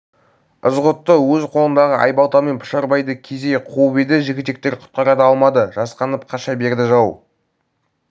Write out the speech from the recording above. ызғұтты өз қолындағы айбалтамен пұшарбайды кезей қуып еді жігітектер құтқара да алмады жасқанып қаша берді жау